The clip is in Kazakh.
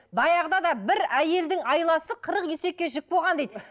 баяғыда да бір әйелдің айласы қырық есекке жүк болған дейді